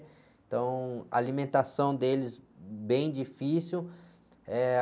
Então, a alimentação deles, bem difícil. Eh...